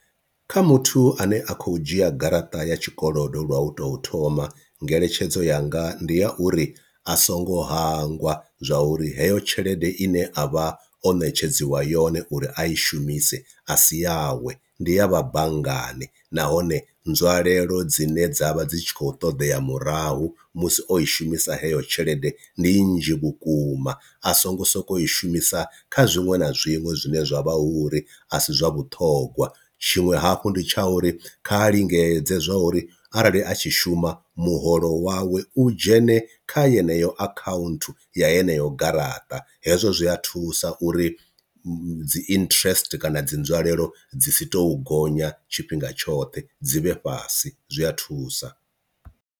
Kha muthu ane a khou dzhia garaṱa ya tshikolodo lwa u to thoma ngeletshedzo yanga ndi ya uri, a songo hangwa zwa uri heyo tshelede i ne a vha o netshedziwa yone uri a i shumise a si yawe ndi ya vha banngani, nahone nzwalelo dzine dzavha dzi tshi khou ṱoḓea murahu musi o i shumisa heyo tshelede ndi nnzhi vhukuma a songo sokou i shumisa kha zwiṅwe na zwiṅwe zwine zwa vha uri a si zwa vhuṱhongwa, tshiṅwe hafhu ndi tsha uri kha lingedze zwa uri arali a tshi shuma muholo wawe u dzhene kha yeneyo akhaunthu ya heneyo garaṱa hezwo zwi a thusa uri dzi interest kana dzi nzwalelo dzi si to gonya tshifhinga tshoṱhe dzi vhe fhasi zwi a thusa.